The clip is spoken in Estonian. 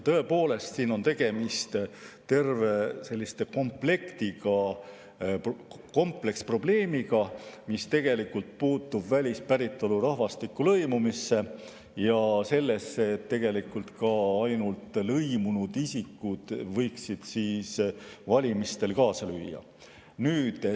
Tõepoolest, siin on tegemist terve komplektiga, kompleksprobleemiga, mis puutub välispäritolu rahvastiku lõimumisse ja sellesse, et tegelikult ainult lõimunud isikud võiksid valimistel kaasa lüüa.